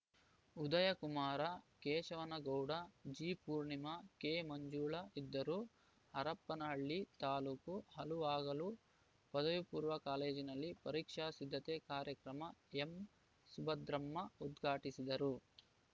ಉದಯಕುಮಾರ ಕೇಶವನಗೌಡ ಜಿಪೂರ್ಣಿಮ ಕೆಮಂಜುಳಾ ಇದ್ದರು ಹರಪನಹಳ್ಳಿ ತಾಲೂಕು ಹಲುವಾಗಲು ಪಪೂ ಕಾಲೇಜಿನಲ್ಲಿ ಪರೀಕ್ಷಾ ಸಿದ್ದತೆ ಕಾರ್ಯಕ್ರಮ ಎಂಸುಭದ್ರಮ್ಮ ಉದ್ಘಾಟಿಸಿದರು